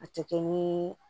A tɛ kɛ ni